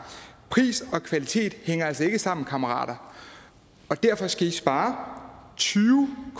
pris og kvalitet hænger altså ikke sammen kammerater og derfor skal i spare tyve